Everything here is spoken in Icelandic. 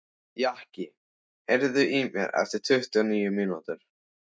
Jaki, heyrðu í mér eftir tuttugu og níu mínútur.